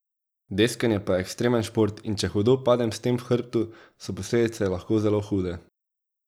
Deskanje pa je ekstremen šport in če hudo padem s tem v hrbtu, so posledice lahko zelo hude.